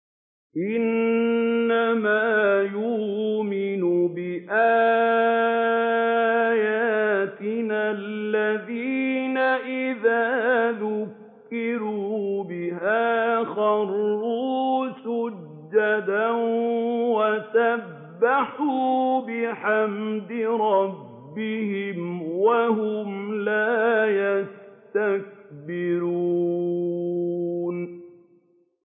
إِنَّمَا يُؤْمِنُ بِآيَاتِنَا الَّذِينَ إِذَا ذُكِّرُوا بِهَا خَرُّوا سُجَّدًا وَسَبَّحُوا بِحَمْدِ رَبِّهِمْ وَهُمْ لَا يَسْتَكْبِرُونَ ۩